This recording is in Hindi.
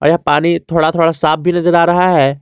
यह पानी थोड़ा थोड़ा साफ भी नजर आ रहा है।